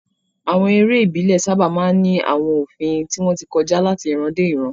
Àwọn eré ìbílẹ̀ sábà máa ń ní àwọn òfin tí wọ́n ti kọjá láti ìran dé ìran.